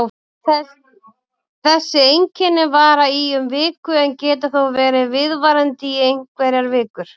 Þessi einkenni vara í um viku en geta þó verið viðvarandi í einhverjar vikur.